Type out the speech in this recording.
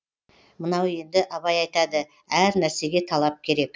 мынау енді абай айтады әр нәрсеге талап керек